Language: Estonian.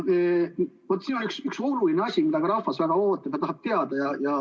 Vaat, siin on üks oluline asi, mida ka rahvas väga tahab teada.